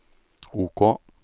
OK